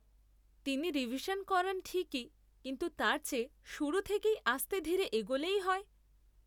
তিনি রিভিশন করান ঠিকই কিন্তু তার চেয়ে শুরু থেকেই আস্তে ধীরে এগোলেই হয়।